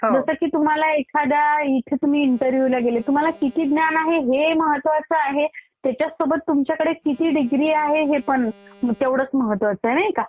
जसं की तुम्हाला एखाद्या इथं तुम्ही इंटरव्हीव्यू ला गेले तुम्हाला किती ज्ञान आहे हे महत्वाचं आहे त्याच्यासोबत तुमच्यकडे किती डिग्री आहे हे पण तेवढंच महत्वाचं आहे, नाही का?